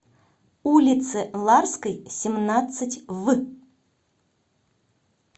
улице ларской семнадцать в